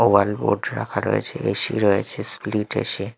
ওয়াল board রাখা রয়েছে A C রয়েছে স্প্লিট এ_সি ।